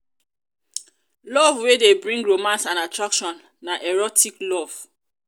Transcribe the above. love wey de bring romance and attraction na erotic love